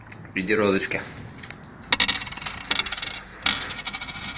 в виде розочки